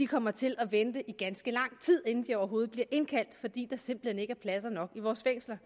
kommer til at vente i ganske lang tid inden de overhovedet bliver indkaldt fordi der simpelt hen ikke er pladser nok i vores fængsler